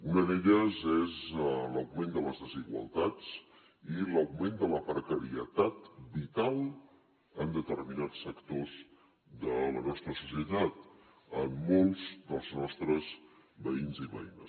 una d’elles és l’augment de les desigualtats i l’augment de la precarietat vital en determinats sectors de la nostra societat en molts dels nostres veïns i veïnes